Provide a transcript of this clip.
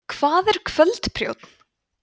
hvað er kvöldprjónn